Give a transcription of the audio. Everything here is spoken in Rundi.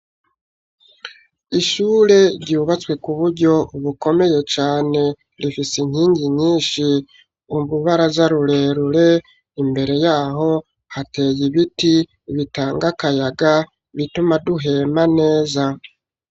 Ishure ryubatswe ku buryo bukomeye cane. Rifise inkingi nyinshi, urubaraza rurerure. Imbere y'aho, hateye ibiti bitanga akayaga bituma duhema neza.